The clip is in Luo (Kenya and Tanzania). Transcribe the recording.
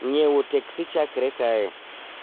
ng�iewo teksi chakre kae